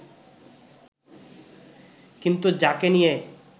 কিন্তু যাকে নিয়ে